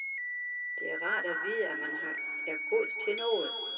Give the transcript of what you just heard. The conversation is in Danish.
Det er rart at vide, at man er god til noget.